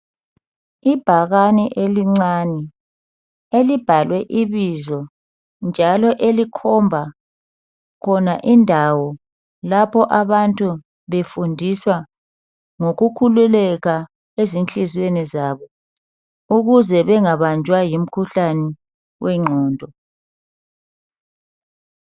Ibhakane elincane elibhalwe ibizo njalo elikhomba khona indawo lapho abantu befundiswa ngokukhululeka ezinhliziyweni zabo ukuze bengabanjwa yimkhuhlane wengqondo.